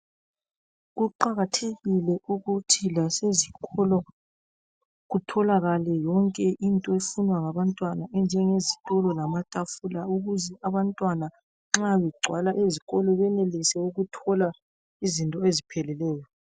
Kuqakathekile ukuthi lasezikolo kutholakale yonke into efunwa ngabantwana enjenge zitulo lamatafula ukuze abantwana nxa kugcwala izikolo benelise ukuthola izinto ezipheleleyo.